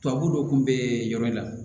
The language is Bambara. Tubabu dɔ kun bɛ yɔrɔ in na